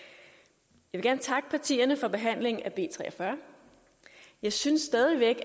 jeg vil gerne takke partierne for behandlingen af b tre og fyrre jeg synes stadig væk